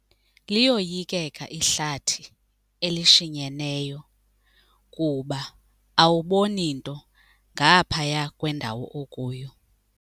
Liyoyikeka ihlathi elishinyeneyo kuba awuboni nto ngaphaya kwendawo okuyo.